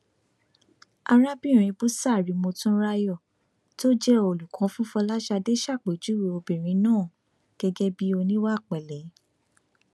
arábìnrin busari motunrayo tó jẹ olùkọ fún fọlásadé ṣàpèjúwe obìnrin náà gẹgẹ bíi oníwàpele